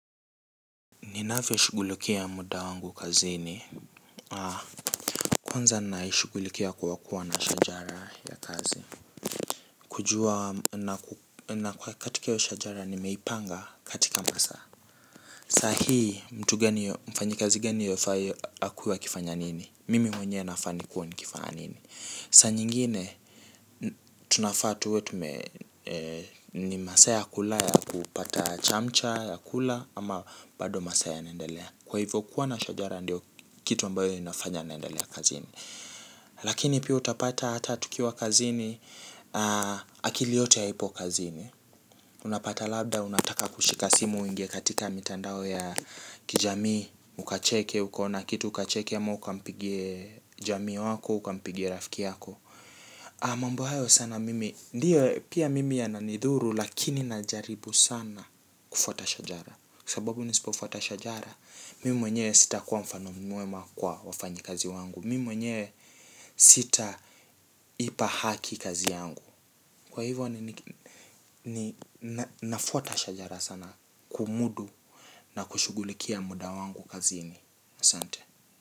Ninavyo shugulikia muda wangu kazini. Kwanza naishugulikia kwa kuwa na shajara ya kazi na kwa katika iyo shajara nimeipanga katika masaa. Sahi mfanyikazi gani anafaa kuwa akifanya nini. Mimi mwenye nafaa nikuwe nikifanya nini. Sa nyingine tunafaa tuwe ni masaa ya kula ya kupata chamcha ya kula ama bado masaa yanendelea. Kwa hivyo kuwa na shajara ndio kitu mbayo inafanya naendelea kazini. Lakini pia utapata hata tukiwa kazini. Akili yote haipo kazini. Unapata labda, unataka kushika simu uingie katika mitandao ya kijamii. Ukacheke, ukaona kitu, ukacheke ama ukampigie jamii wako, ama ukampigie rafiki yako mambo hayo sana mimi, ndiyo pia mimi yananidhuru. Lakini na jaribu sana kufuata shajara sababu nisipofuata shajara mimi mwenye sitakuwa mfano mwema kwa wafanyikazi wangu mimi mwenye sitaipa haki kazi yangu kwa hivyo nafuata shajara sana kumudu na kushughulikia muda wangu kazini asanti.